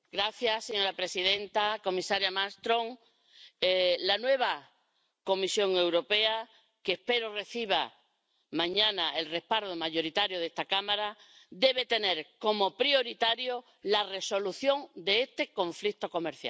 Señora presidenta, comisaria Malmström, la nueva Comisión Europea —que espero que reciba mañana el respaldo mayoritario de esta Cámara— debe tener como prioridad la resolución de este conflicto comercial.